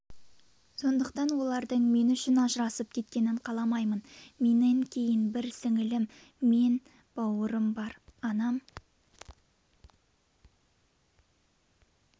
сондықтан олардың мен үшін ажырасып кеткенін қаламаймын менен кейін бір сіңілім мен бауырым бар анам